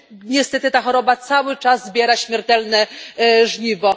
Niestety ta choroba cały czas zbiera śmiertelne żniwo.